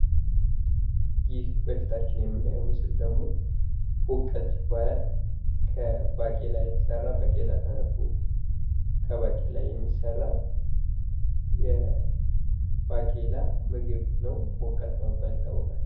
ይህ በፊታችን የምናየው ምስል ደግሞ ቦቀልት ይባላል ።ከባቄላ የተሰራ ባቄላ ተደርጎ ከባቄላ የሚሰራ የባቄላ ምግብ ነው ቦቀልት በመባል ይታወቃል ።